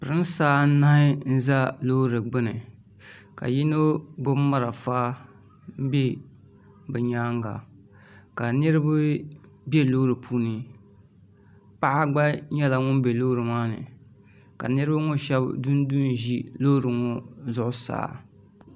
Pirinsi anahi n za loori gbini ka yino gbibi marafa m be bɛ nyaanga ka niriba be loori puuni paɣa gba nyɛla ŋun be loori maa ni ka niriba ŋɔ sheba dundu n ʒi loori ŋɔ zuɣusaa .